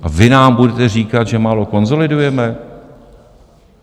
A vy nám budete říkat, že málo konsolidujeme?